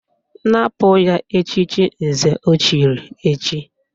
Napụ ya echiche nze o chiri echi!